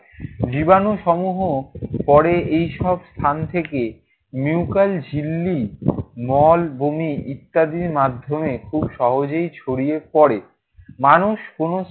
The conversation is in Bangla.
জীবাণুসমূহ পরে এসব স্থান থেকে মিউকাস ঝিল্লি, মল, বমি ইত্যাদির মাধ্যমে খুব সহজেই ছড়িয়ে পরে। মানুষ কোনো